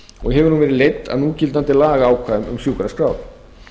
og hefur hún verið leidd af núgildandi lagaákvæðum um sjúkraskrár